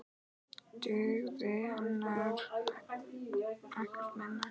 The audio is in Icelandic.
Dugði ekkert minna.